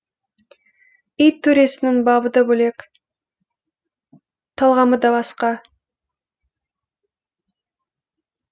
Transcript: ит төресінің бабы да бөлек талғамы да басқа